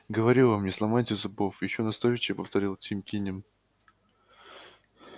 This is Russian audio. говорю вам не сломайте зубов ещё настойчивее повторил тим кинем